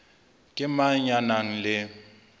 ke mang ya nang le